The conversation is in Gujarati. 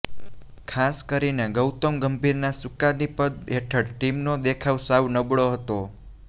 ખાસ કરીને ગૌતમ ગંભીરના સુકાનીપદ હેઠળ ટીમનો દેખાવ સાવ નબળો હતો